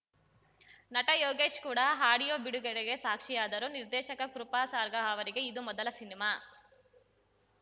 ನಟ ಯೋಗೀಶ್‌ ಕೂಡ ಆಡಿಯೋ ಬಿಡುಗಡೆಗೆ ಸಾಕ್ಷಿಯಾದರು ನಿರ್ದೇಶಕ ಕೃಪಾಸಾರ್ಗ ಅವರಿಗೆ ಇದು ಮೊದಲ ಸಿನಿಮಾ